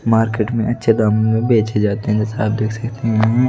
Market में अच्छे दाम में बेचे जाते हैं जैसे आप देख सकते हैं ।